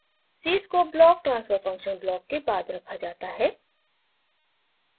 cscope block transfer function block के बाद रखा जाता है